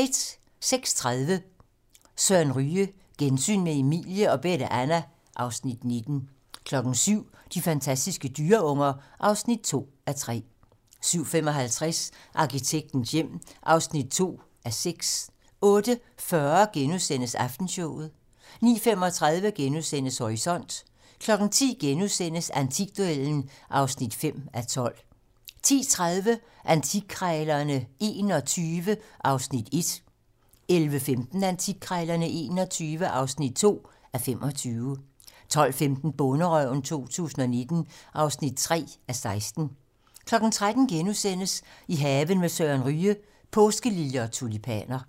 06:30: Søren Ryge: Gensyn med Emilie og Bette Anna (Afs. 19) 07:00: De fantastiske dyreunger (2:3) 07:55: Arkitektens hjem (2:6) 08:40: Aftenshowet * 09:35: Horisont * 10:00: Antikduellen (5:12)* 10:30: Antikkrejlerne XXI (1:25) 11:15: Antikkrejlerne XXI (2:25) 12:15: Bonderøven 2019 (3:16) 13:00: I haven med Søren Ryge: Påskeliljer og tulipaner *